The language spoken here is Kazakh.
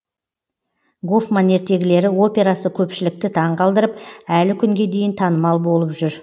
гофман ертегілері операсы көпшілікті таң қалдырып әлі күнге дейін танымал болып жүр